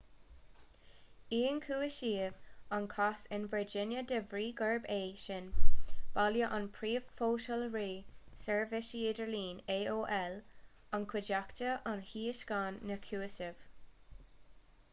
ionchúisíodh an cás in virginia de bhrí gurb é sin baile an phríomhsholáthraí seirbhíse idirlín aol an chuideachta a thionscain na cúisimh